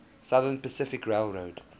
southern pacific railroad